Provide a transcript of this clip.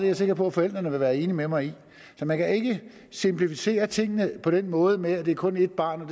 jeg sikker på forældrene vil være enige med mig i så man kan ikke simplificere tingene på den måde med at det kun er et barn og